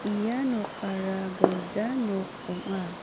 ia nokara gilja nok ong·a.